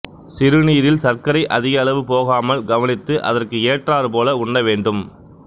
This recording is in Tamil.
சிறுநீரில் சர்க்கரை அதிக அளவு போகாமல் கவனித்து அதற்கு ஏற்றாற்போல உண்ண வேண்டும்